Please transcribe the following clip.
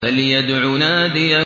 فَلْيَدْعُ نَادِيَهُ